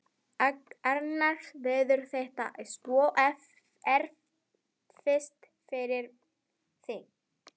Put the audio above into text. Annars verður þetta svo erfitt fyrir þig.